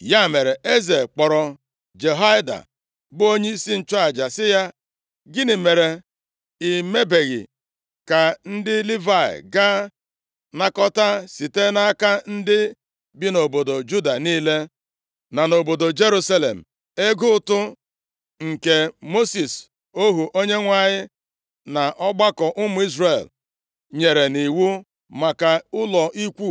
Ya mere, eze kpọrọ Jehoiada bụ onyeisi nchụaja sị ya, “Gịnị mere i mebeghị ka ndị Livayị gaa nakọtaa, site nʼaka ndị bi nʼobodo Juda niile, na nʼobodo Jerusalem, ego ụtụ nke Mosis ohu Onyenwe anyị na ọgbakọ ụmụ Izrel nyere nʼiwu maka ụlọ ikwu